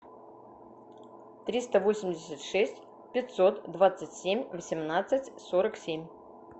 триста восемьдесят шесть пятьсот двадцать семь восемнадцать сорок семь